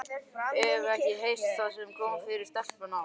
Hefurðu ekki heyrt það sem kom fyrir stelpuna á